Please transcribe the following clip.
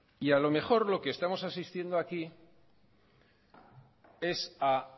y a lo mejor lo que estamos asistiendo aquí es a